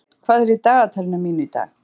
Kolbeinn, hvað er í dagatalinu mínu í dag?